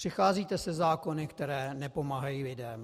Přicházíte se zákony, které nepomáhají lidem.